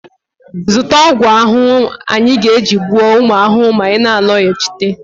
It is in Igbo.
zụta ọgwụ ahụhụ anyị ga-eji gbuo ụmụ ahụhụ ma ị na-alọghachite